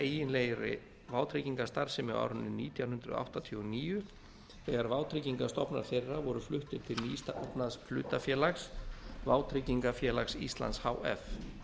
eiginlegri vátryggingastarfsemi á árinu nítján hundruð áttatíu og níu þegar vátryggingastofnar þeirra voru fluttir til nýstofnað hlutafélags vátryggingafélags íslands h f